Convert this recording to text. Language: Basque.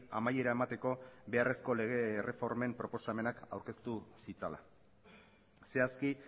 amaiera emateko beharrezko lege erreformen proposamenak aurkeztu zitzala zehazki